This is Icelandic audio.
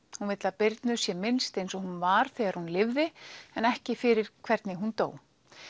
hún vill að Birnu sé minnst eins og hún var þegar hún lifði en ekki fyrir hvernig hún dó